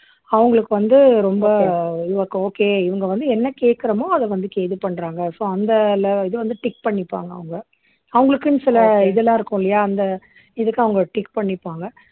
அவங்களுக்கு வந்த ரொம்ப okay இவங்க வந்து என்ன கேட்கிறோமோ அதை வந்து கே இது பண்றாங்க so அந்த இது வந்து tick பண்ணிப்பாங்க அவங்க அவங்களுக்குன்னு சில இதெல்லாம் இருக்கும் இல்லையா அந்த இதுக்கு அவங்க tick பண்ணிப்பாங்க